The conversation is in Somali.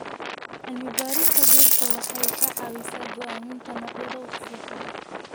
Cilmi-baarista dhirta waxay ka caawisaa go'aaminta noocyada ugu fiican.